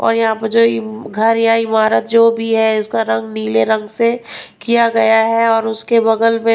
और यहां पर जो घर या इमारत जो भी है उसका रंग नीले रंग से किया गया है और उसके बगल में--